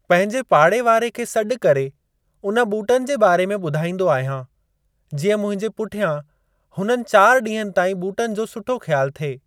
पंहिंजे पाड़े वारे खे सॾु करे उन ॿूटनि जे बारे में ॿुधाईंदो आहियां, जीअं मुंहिंजे पुठियां हुननि चार ॾींहनि ताईं ॿूटनि जो सुठो ख़्यालु थिए।